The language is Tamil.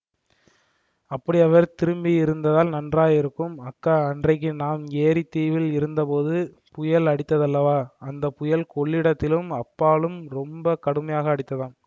அப்படி அவர் திரும்பியிருந்தால் நன்றாயிருக்கும் அக்கா அன்றைக்கு நாம் ஏரித் தீவில் இருந்தபோது புயல் அடித்ததல்லவா அந்த புயல் கொள்ளிடத்திலும் அப்பாலும் ரொம்ப கடுமையாக அடித்ததாம்